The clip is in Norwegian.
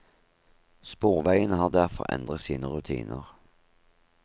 Sporveiene har derfor endret sine rutiner.